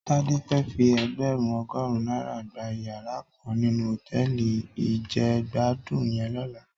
Tade fè fí ègbèrún ògòrún nàirá gbá iyàrá kàn ninú hótèlí ijègbàdún yèn lòlá